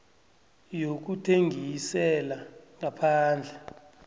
yokuthengisela ngaphandle